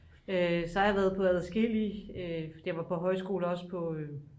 så har jeg været på adskillige jeg var på højskole også